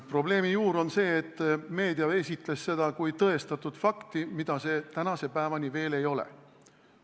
Probleemi juur on see, et meedia esitles seda kui tõestatud fakti, mida see tänase päevani veel ei ole.